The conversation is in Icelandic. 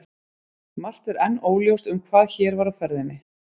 Margt er enn óljóst um hvað hér var á ferðinni.